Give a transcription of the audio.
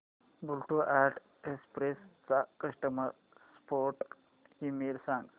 blue Dart Express चा customer support email सांग